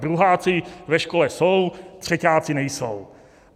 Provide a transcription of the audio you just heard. Druháci ve škole jsou, třeťáci nejsou.